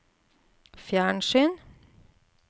fjernsyn